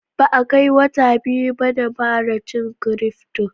Ba a kai wata biyu ba na fara yin Cryfto.